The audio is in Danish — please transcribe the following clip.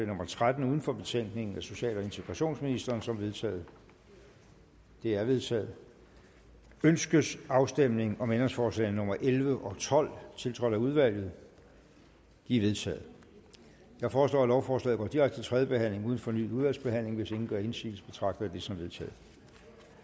nummer tretten uden for betænkningen af social og integrationsministeren som vedtaget det er vedtaget ønskes afstemning om ændringsforslagene nummer elleve tolv tiltrådt af udvalget de er vedtaget jeg foreslår at lovforslaget går direkte til tredje behandling uden fornyet udvalgsbehandling hvis ingen gør indsigelse betragter jeg det som vedtaget